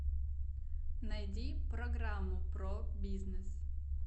найди программу про бизнес